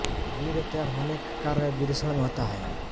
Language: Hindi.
वीर्य तैयार होने का कार्य वृषण में होता है